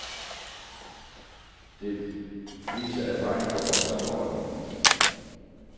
Det viser erfaringen fra vores andre ordninger.